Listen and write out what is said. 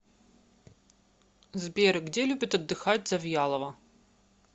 сбер где любит отдыхать завьялова